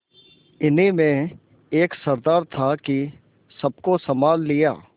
इन्हीं में एक सरदार था कि सबको सँभाल लिया